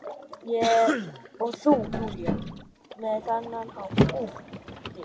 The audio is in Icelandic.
Og þú Júlía, með þennan hatt, úff, við